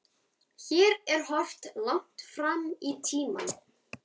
Hér er horft langt fram í tímann.